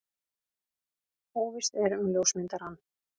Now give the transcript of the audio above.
Óvíst er um ljósmyndarann.